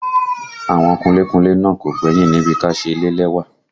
Àwọn kunlé kunlé náà kò gbẹ́yìn níbi ká ṣe ilé lẹ́wà